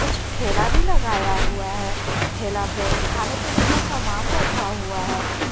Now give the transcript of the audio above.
कुछ ठेला भी लगाया हुआ है ठेला पे खाने पीने का सामान रखा हुआ है।